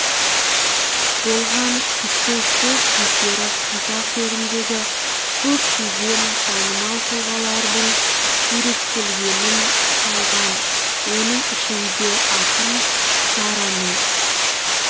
болған кісі сол кездері қазақ жеріндегі көптеген танымал тұлғалардың суреттерін салған оның ішінде ақын сараның